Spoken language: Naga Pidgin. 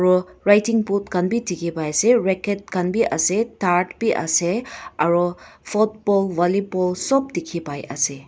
aro riding boot khan dikhipaiase racket khan bi ase tar bi ase aro football vollyball sop dikhiase.